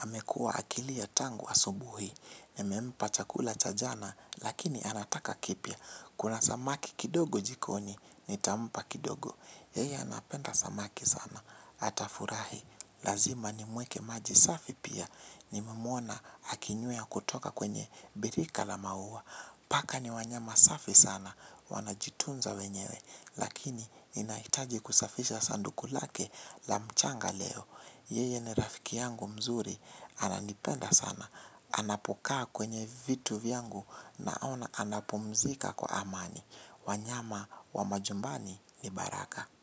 amekuwa akilia tangu asubuhi, nimempa chakula cha jana, lakini anataka kipya kuna samaki kidogo jikoni, nitampa kidogo, yeye anapenda samaki sana, atafurahi, lazima nimwekee maji safi pia, nimemwona akinywea kutoka kwenye birika la maua, paka ni wanyama safi sana, wanajitunza wenyewe, lakini ninahitaji kusafisha sanduku lake la mchanga leo. Yeye ni rafiki yangu mzuri. Ananipenda sana. Anapokaa kwenye vitu vyangu naona anapumzika kwa amani. Wanyama wa majumbani ni baraka.